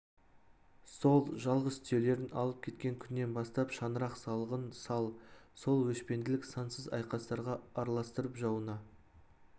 сол жалғыз түйелерін алып кеткен күннен бастап шаңырақ салығын сал- сол өшпенділік сансыз айқастарға араластырып жауына